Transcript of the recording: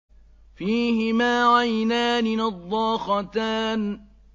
فِيهِمَا عَيْنَانِ نَضَّاخَتَانِ